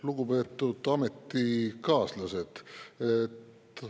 Lugupeetud ametikaaslased!